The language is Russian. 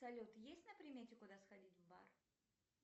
салют есть на примете куда сходить в бар